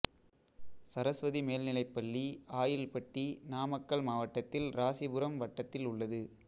சரஸ்வதி மேல்நிலைப் பள்ளி ஆயில்பட்டி நாமக்கல் மாவட்டத்தில் இராசிபுரம் வட்டத்தில் உள்ளது